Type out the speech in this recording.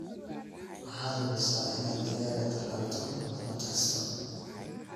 Waxaad hubisa inaad digaaga tallaalto sannad kasta.